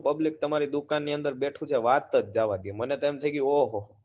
એમાં તો public એટલું બધું તો જુઓ તામ્રી દુકાનની અંદર બેઠું છે વાત જ જવા દ્યો મને તો થઇ ગયું ઓહો